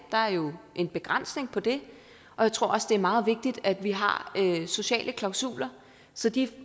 der er jo en begrænsning på det og jeg tror også det er meget vigtigt at vi har sociale klausuler så de